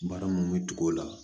Baara mun bɛ tugu o la